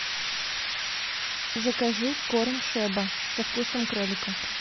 закажи корм шеба со вкусом кролика